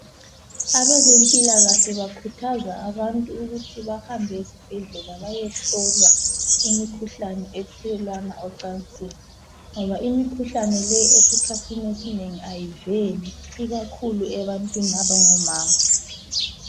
Abezempilakahle bakhuthaza abantu ukuthi bahambe esibhedlela bayehlolwa imikhuhlane ethelelwana ecansini ngoba imikhuhlane le esikhathini esinengi ayivheli, ikakhulu ebantwini abangomama.